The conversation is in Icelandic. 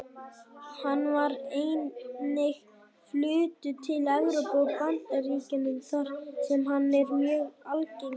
Hann var einnig fluttur til Evrópu og Bandaríkjanna þar sem hann er mjög algengur.